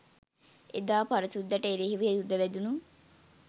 එදා පර සුද්දට එරෙහිව යුධ වැදුණු